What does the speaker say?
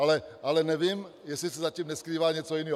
Ale nevím, jestli se zatím neskrývá něco jiného.